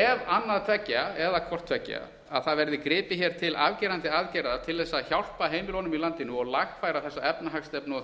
ef annað tveggja eða hvort tveggja að það verði gripið hér til afgerandi aðgerða til þess að hjálpa heimilunum í landinu og lagfæra þessa efnahagsstefnu og þessa